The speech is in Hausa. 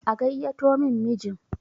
a gaiyyato min mijin!